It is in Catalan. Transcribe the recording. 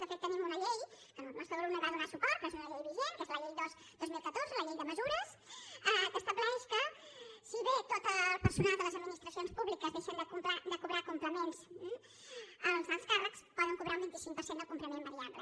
de fet tenim una llei que el nostre grup no hi va donar suport però és una llei vigent que és la llei dos dos mil catorze la llei de mesures que estableix que si bé tot el personal de les administracions públiques deixa de cobrar complements els alts càrrecs poden cobrar un vint cinc per cent del complement variable